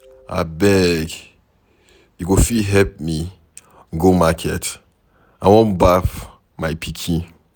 Abeg, you go fit help me go market? I wan baff my pikin